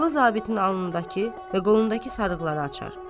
Yaralı zabitin alnındakı və qolundakı sarğıları açar.